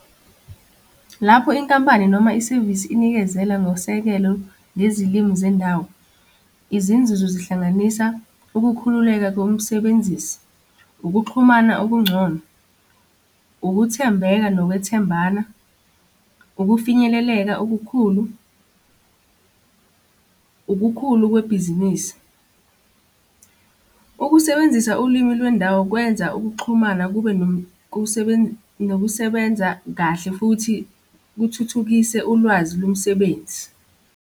Lapho inkampani noma isevisi inikezela ngosekelo ngezilimi zendawo, izinzuzo zihlanganisa ukukhululeka komsebenzisi, ukuxhumana okungcono, ukuthembeka nokwethembana, ukufinyeleleka okukhulu, ukukhulu kwebhizinisi. Ukusebenzisa ulwimi lwendawo kwenza ukuxhumana kube nokusebenza kahle futhi kuthuthukise ulwazi lomsebenzi.